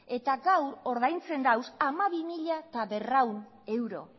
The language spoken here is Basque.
eta gaur ordaintzen dauz hamabi mila berrehun euro